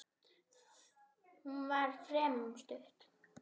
Hún var fremur stutt.